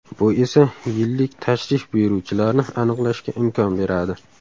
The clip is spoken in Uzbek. Bu esa yillik tashrif buyuruvchilarni aniqlashga imkon beradi.